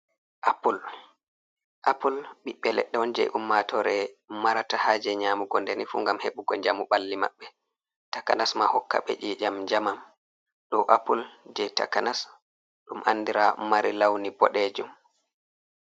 Apul, apul ɓiɓɓe leɗɗe on jei ummatore marata haaje nyaamugo ndeni fu ngam heɓugo njamu ɓalli maɓɓe, takanas ma hokka ɓe i'ƴam njamam. Ɗo apul, jei takanas ɗum andiraa mari launi boɗeejum.